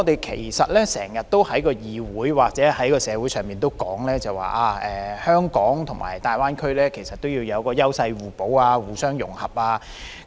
其實，我們經常在議會或社會上說，香港和大灣區要優勢互補、互相融合。